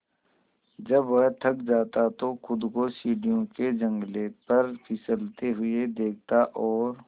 जब वह थक जाता तो खुद को सीढ़ियों के जंगले पर फिसलते हुए देखता और